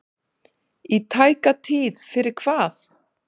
Í tæka tíð fyrir hvað?